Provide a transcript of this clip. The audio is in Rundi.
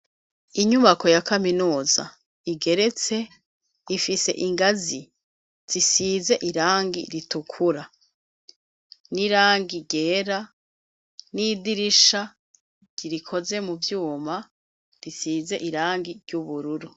Inyubako ya kaminuza igeretse, ifise ingazi zisize irangi ritukura, n'irangi ryera, n'idirisha rikoze mu vyuma risize irangi ry'ubururu.